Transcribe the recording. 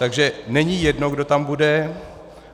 Takže není jedno, kdo tam bude.